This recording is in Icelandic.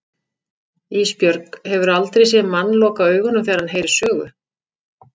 Ísbjörg, hefurðu aldrei séð mann loka augunum þegar hann heyrir sögu?